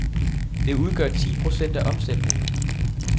Det udgør ti procent af omsætningen.